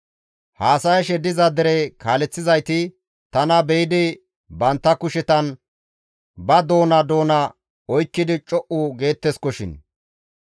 Haasayshe diza dere kaaleththizayti tana be7idi bantta kushetan ba doona doona oykkidi co7u geetteskoshin.